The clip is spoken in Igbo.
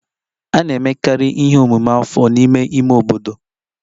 A na-emekarị ihe omume afọ n'ime ime obodo